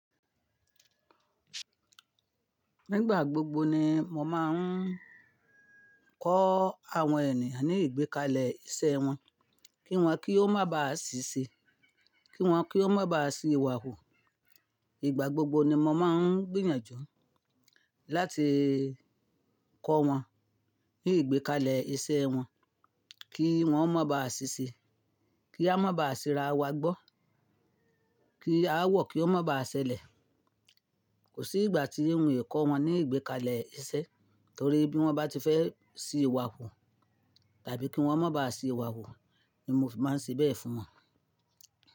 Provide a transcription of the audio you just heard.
Nígbà gbogbo ni mo máa ń kọ́ àwọn ènìyàn ní ìgbékalẹ̀ isẹ́ wọn, kí wọ́n, kí ó má ba à sise, kí wọ́n, kí ó má ba à si iwà hù. Ìgbà gbogbo ni mo máa ń gbìyànjú láti kọ́ wọn ní ìgbékalẹ̀ isẹ́ wọn, kí wọ́n o má ba à sise, kí a má ba à si ra wa gbọ́, kí a wọ̀ kí ó má ba à ṣẹlẹ̀. Kò sí ìgbà tí n ò kọ́ wọn ní ìgbékalẹ̀ isẹ torí bí wọ́n bá ti fẹ́ si iwà hù tàbí kí wọ́n má ba à si iwà hù ni mo fi máa ń se bẹ́ẹ̀ fún wọn.